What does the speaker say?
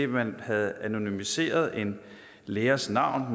man havde anonymiseret en lærers navn